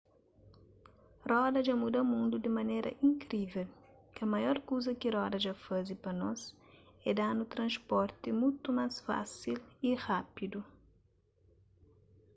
roda dja muda mundu di manera inkrível kel maior kuza ki roda dja faze pa nos é da-nu transporti mutu más fásil y rápidu